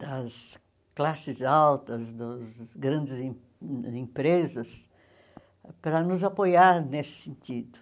das classes altas, dos grandes em empresas, para nos apoiar nesse sentido.